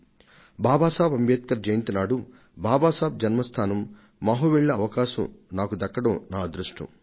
బాబాసాహెబ్ అంబేడ్కర్ జయంతి నాడు బాబాసాహెబ్ జన్మస్థానం మహు కు వెళ్లే అవకాశం నాకు దక్కడం నా అదృష్టం